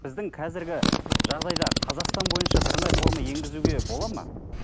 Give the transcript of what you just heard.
біздің қазіргі жағдайда қазақстан бойынша бірыңғай форма енгізуге болады ма